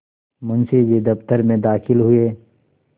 मुंशी जी दफ्तर में दाखिल हुए